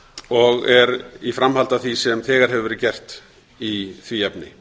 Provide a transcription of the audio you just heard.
og er í framhaldi af því sem þegar hefur verið gert í því efni